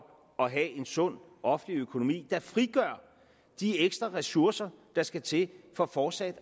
at have en sund offentlig økonomi der frigør de ekstra ressourcer der skal til for fortsat